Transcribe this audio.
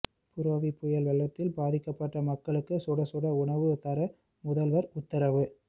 புரேவி புயல் வெள்ளத்தில் பாதிக்கப்பட்ட மக்களுக்கு சுடச்சுட உணவு தர முதல்வர் உத்தரவு